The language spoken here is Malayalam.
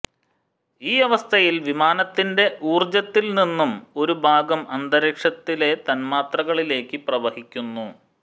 ഈ അവസ്ഥയിൽ വിമാനത്തിന്റെ ഊർജ്ജത്തിൽ നിന്നും ഒരു ഭാഗം അന്തരീക്ഷത്തിലെ തന്മാത്രകളിലേക്ക് പ്രവഹിക്കുന്നു